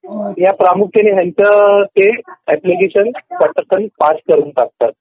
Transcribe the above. ह्या प्रामुख्याने ह्याच ते ॲप्लिकेशन पटकन पास करून टाकतात